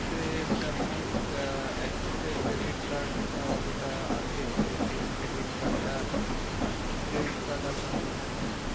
Axis আপনার এক্সিসের credit card যেটা আছে সেই credit card টা কি credit card আপনার মনে আছে?